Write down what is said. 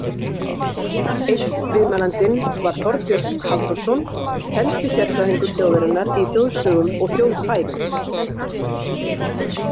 Einn viðmælandinn var Þorbjörn Halldórsson, helsti sérfræðingur þjóðarinnar í þjóðsögum og þjóðkvæðum.